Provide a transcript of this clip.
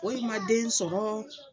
foyi ma den sɔrɔ